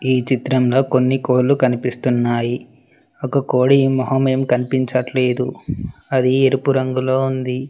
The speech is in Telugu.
ఈ చిత్రంలో కొన్ని కోళ్లు కనిపిస్తున్నాయి ఒక కోడి మొహం ఏం కనిపించట్లేదు అది ఎరుపు రంగులో ఉంది.